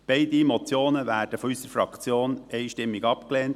Beide Motionenwerden von unserer Fraktion einstimmig abgelehnt.